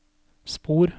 spor